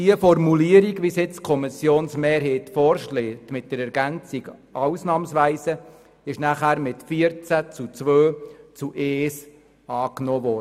Diese Formulierung mit der Ergänzung «ausnahmsweise», wie sie jetzt die Kommissionsmehrheit vorschlägt, wurde anschliessend mit 14 gegen 2 Stimmen bei einer Enthaltung angenommen.